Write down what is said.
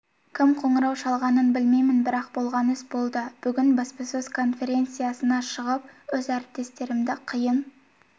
кім қоңырау шалғанын білмеймін бірақ болған іс болды бүгін баспасөз конференциясына шығып өз әріптестерімді қиын